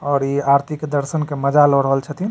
और इ आरती के दर्शन के मजा ल रहल छथीन।